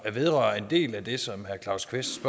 vedrører en del af det som herre claus kvist